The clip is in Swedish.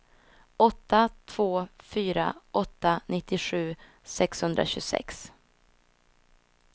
åtta två fyra åtta nittiosju sexhundratjugosex